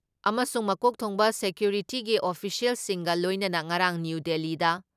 ꯑꯃꯁꯨꯡ ꯃꯀꯣꯛ ꯊꯣꯡꯕ ꯁꯦꯀ꯭ꯌꯨꯔꯤꯇꯤꯒꯤ ꯑꯣꯐꯤꯁꯤꯌꯦꯜꯁꯤꯡꯒ ꯂꯣꯏꯅꯅ ꯉꯔꯥꯡ ꯅ꯭ꯌꯨ ꯗꯤꯜꯂꯤꯗ